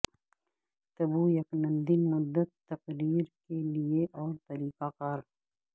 تبویکندین مدت تقرری کے لئے اور طریقہ کار